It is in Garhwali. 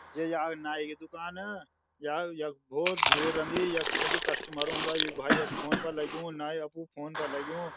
ये यहाँ नाइ कि दुकान या यख भौत भीड़ रंदी यख छकी कस्टमर औंदा यु भाई यख फ़ोन पर लग्युं नाई अपडू फ़ोन पर लग्युं।